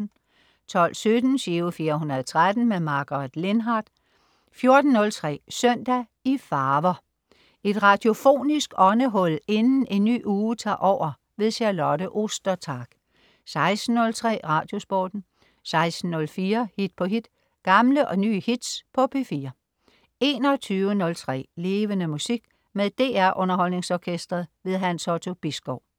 12.17 Giro 413. Margaret Lindhardt 14.03 Søndag i farver. Et radiofonisk åndehul inden en ny uge tager over. Charlotte Ostertag 16.03 Radiosporten 16.04 Hit på hit. Gamle og nye hits på P4 21.03 Levende Musik. Med DR Underholdningsorkestret. Hans Otto Bisgaard